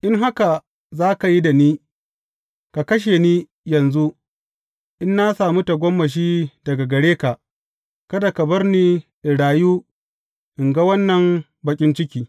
In haka za ka yi da ni, ka kashe ni yanzu, in na sami tagomashi daga gare ka, kada ka bar ni in rayu in ga wannan baƙin ciki.